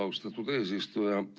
Austatud eesistuja!